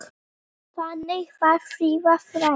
Þannig var Fríða frænka.